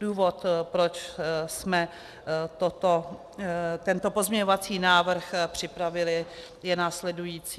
Důvod, proč jsme tento pozměňovací návrh připravili, je následující.